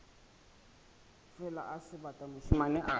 fela o sebata mošemane a